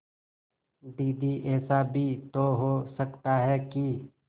दीदी ऐसा भी तो हो सकता है कि